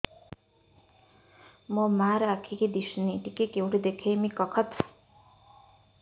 ମୋ ମା ର ଆଖି କି ଦିସୁନି ଟିକେ କେଉଁଠି ଦେଖେଇମି କଖତ